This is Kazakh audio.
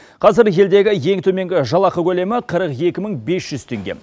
қазір елдегі ең төменгі жалақы көлемі қырық екі мың бес жүз теңге